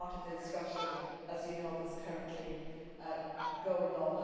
That is part of the discussion, as you know, that is currently going on.